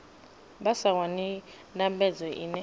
vha sa wani ndambedzo iṅwe